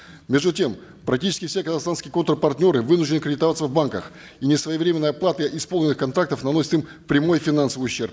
между тем практически все казахстанские контр партнеры вынуждены кредитоваться в банках и несвоевременная оплата исполненных контрактов наносит им прямой финансовый ущерб